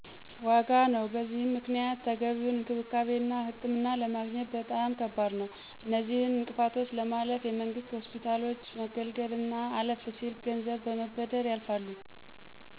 ዋጋ ነው። በዚህም ምክንያት ተገቢውን እንክብካቤና ህክምና ለማግኘት በጣም ከባድ ነዉ። አነዚህን እንቅፋቶች ለማለፍ የመንግስት ሆስፒታሎች መገልገል አና አለፍ ሲል ገንዘብ በመበደር ያልፋሉ።